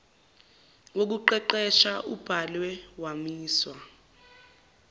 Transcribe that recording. wokuqeqesha ubhalwe wamiswa